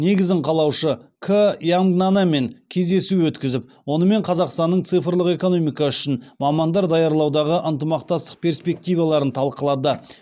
негізін қалаушы к ямгнанемен кездесу өткізіп онымен қазақстанның цифрлық экономикасы үшін мамандар даярлаудағы ынтымақтастық перспективаларын талқылады